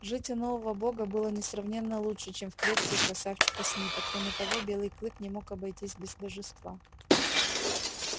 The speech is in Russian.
жить у нового бога было несравненно лучше чем в клетке у красавчика смита кроме того белый клык не мог обойтись без божества